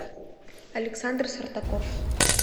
александр сартаков